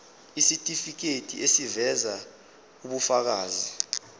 isitifiketi eziveza ubufakazi